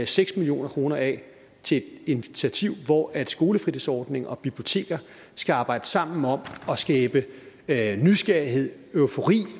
seks million kroner af til et initiativ hvor skolefritidsordning og biblioteker skal arbejde sammen om at nysgerrighed eufori